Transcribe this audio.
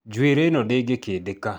Njuĩrĩ ĩ no ndĩngĩkĩndĩka.